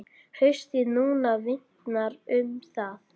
Haustið núna vitnar um það.